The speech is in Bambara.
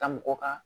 Ta mɔgɔ ka